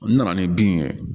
N nana ni bin ye